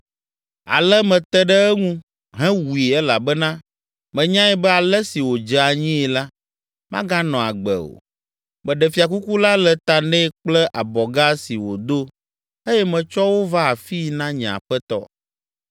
“Ale mete ɖe eŋu hewui elabena menyae be ale si wòdze anyii la, maganɔ agbe o. Meɖe fiakuku la le ta nɛ kple abɔga si wòdo eye metsɔ wo va afii na nye aƒetɔ.”